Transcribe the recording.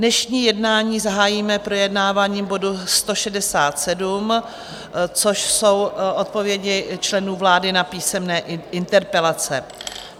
Dnešní jednání zahájíme projednáváním bodu 167, což jsou odpovědi členů vlády na písemné interpelace.